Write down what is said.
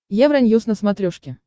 евроньюс на смотрешке